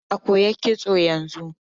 Hanan na koyar kitso yanzu.